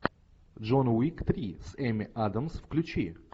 джон уик три с эми адамс включи